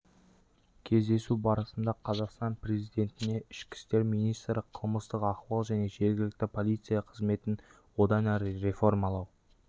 кездесу барысында қазақстан президентіне ішкі істер министрі қылмыстық ахуал және жергілікті полиция қызметін одан әрі реформалау